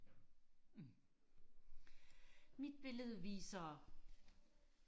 mit billede viser